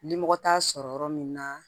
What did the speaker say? Lilimɔgɔ t'a sɔrɔ yɔrɔ min na